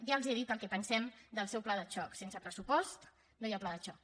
ja els he dit el que pensem del seu pla de xoc sense pressupost no hi ha pla de xoc